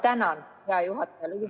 Tänan, hea juhataja!